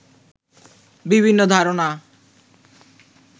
বিভিন্ন ধারণা